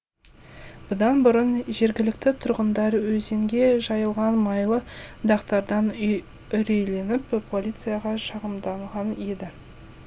бұдан бұрын жергілікті тұрғындар өзенге жайылған майлы дақтардан үрейленіп полицияға шағымданған еді